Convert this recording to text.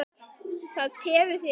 Það tefur þig ekkert.